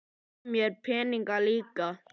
Og gaf mér peninga líka.